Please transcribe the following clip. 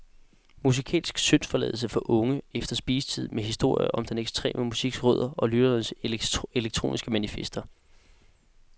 Musikalsk syndsforladelse for unge efter spisetid med historier om den ekstreme musiks rødder og lytternes elektroniske manifester.